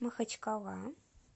махачкала